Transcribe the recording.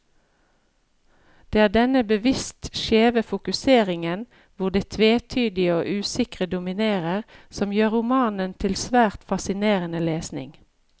Det er denne bevisst skjeve fokuseringen, hvor det tvetydige og usikre dominerer, som gjør romanen til svært fascinerende lesning.